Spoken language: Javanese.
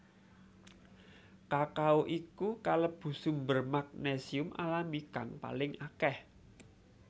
Kakao iku kalebu sumber magnesium alami kang paling akéh